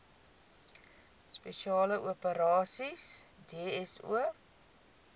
spesiale operasies dso